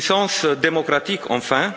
La puissance démocratique, enfin.